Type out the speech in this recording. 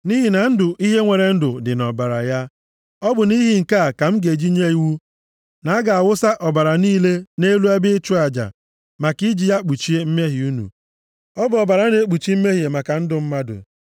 Nʼihi na ndụ ihe nwere ndụ dị nʼọbara ya, ọ bụ nʼihi nke a ka m ji nye iwu na a ga-awụsa ọbara niile nʼelu ebe ịchụ aja, maka iji ya kpuchie mmehie unu. Ọ bụ ọbara na-ekpuchi mmehie maka ndụ mmadụ. + 17:11 \+xt Hib 9:22\+xt*